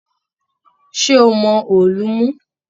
Ṣé ó mọ òòlù mú?